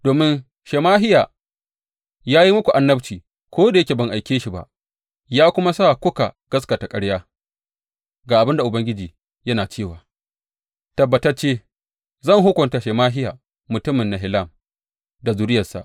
Domin Shemahiya ya yi muku annabci, ko da yake ban aike shi ba, ya kuma sa kuka gaskata ƙarya, ga abin da Ubangiji yana cewa, tabbatacce zan hukunta Shemahiya mutumin Nehelam da zuriyarsa.